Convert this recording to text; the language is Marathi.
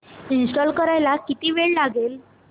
इंस्टॉल करायला किती वेळ लागेल